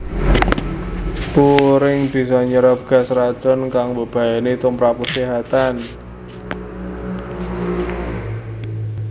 Puring bisa nyerep gas racun kang mbebayani tumprap kaséhatan